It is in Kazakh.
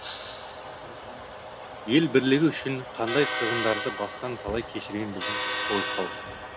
ел бірлігі үшін қандай қырғындарды бастан талай кешірген біздің ғой халық